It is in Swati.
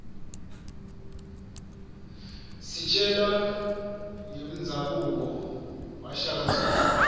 sitjelwa rqemzanbuo washaka zulu